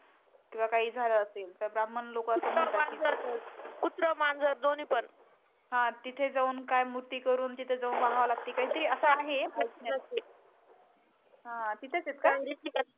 हा तिथे जाऊन काय मुक्ती करून तिथे जाऊन व्हाव लागते काही तरी अस आहे. ह तिथच आहे का